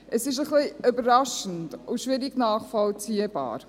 Es ist ein wenig überraschend und schwierig nachvollziehbar.